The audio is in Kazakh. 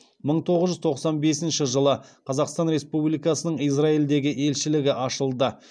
мың тоғыз жүз тоқсан бесінші жылы қазақстан республикасының израильдегі елшілігі ашылды